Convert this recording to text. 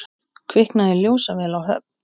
Kviknaði í ljósavél á Höfn